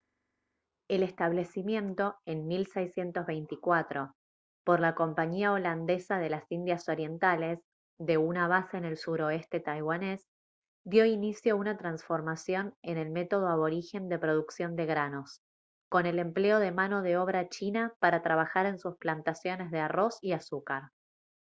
el establecimiento en 1624 por la compañía holandesa de las indias orientales de una base en el suroeste taiwanés dio inicio a una transformación en el método aborigen de producción de granos con el empleo de mano de obra china para trabajar en sus plantaciones de arroz y azúcar